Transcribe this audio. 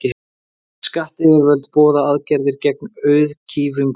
Skattayfirvöld boða aðgerðir gegn auðkýfingunum.